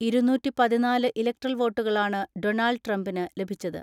ഇരുന്നൂറ്റിപതിനാല് electoral വോട്ടുകളാണ് Donald ട്രംപിന് ലഭിച്ചത്.